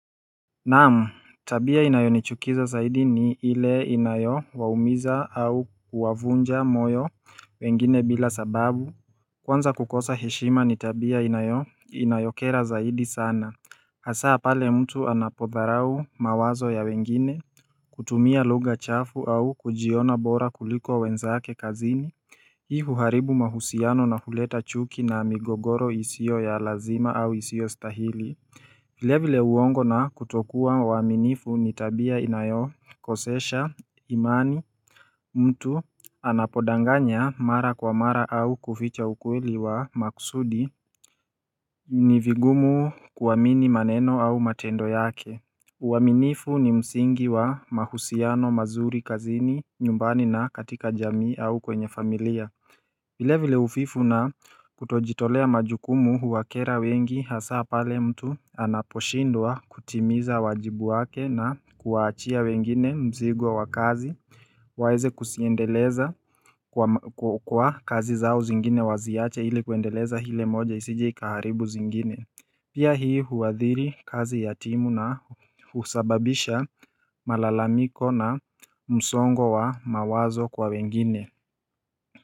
Naam, tabia inayonichukiza zaidi ni ile inayowaumiza au kuwavunja moyo wengine bila sababu Kwanza kukosa heshima ni tabia inayokera zaidi sana Hasaa pale mtu anapodharau mawazo ya wengine, kutumia lugha chafu au kujiona bora kuliko wenzake kazini Hii huharibu mahusiano na huleta chuki na migogoro isio ya lazima au isiyostahili vile vile uongo na kutokuwa waaminifu ni tabia inayokosesha imani, mtu anapodanganya mara kwa mara au kuficha ukweli wa maksudi ni vigumu kuamini maneno au matendo yake uaminifu ni msingi wa mahusiano mazuri kazini, nyumbani na katika jamii au kwenye familia vile vile uvivu na kutojitolea majukumu huwakera wengi hasaa pale mtu anaposhindwa kutimiza wajibu wake na kuwaachia wengine mzigo wa kazi waeze kuziendeleza kwa kazi zao zingine waziache ili kuendeleza ile moja isije ikaharibu zingine Pia hii huathiri kazi ya timu na husababisha malalamiko na msongo wa mawazo kwa wengine.